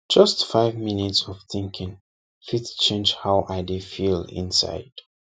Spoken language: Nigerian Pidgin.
just five minutes of thinking fit change how i dey feel inside